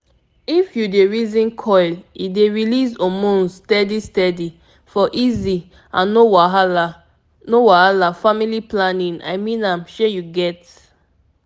if u dey reason coil e dey release hormones steady steady --for easy and no wahala no wahala family planning i mean am shey u get?